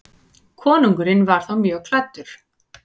Konungur var þá mjög klæddur.